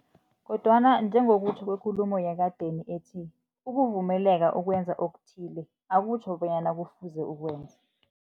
Kodwana njengokutjho kwekulumo yekadeni ethi, ukuvumeleka ukwenza okuthile, akutjho bonyana kufuze ukwenze.